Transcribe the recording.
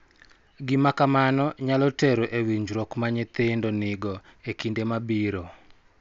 Gima kamano nyalo tero e winjruok ma nyithindo nigo e kinde mabiro,